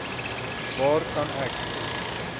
waar kan ek